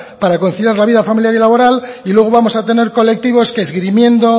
para conciliar la vida familiar y laboral y luego vamos a tener colectivo que esgrimiendo